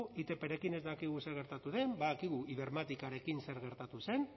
itprekin ez dakigu zer gertatu den badakigu ibermáticarekin zer gertatu zen